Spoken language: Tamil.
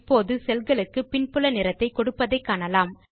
இப்போது செல் களுக்கு பின்புல நிறத்தை கொடுப்பதை காணலாம்